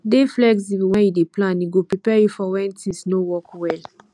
dey flexible when you dey plan e go prepare you for when things no work well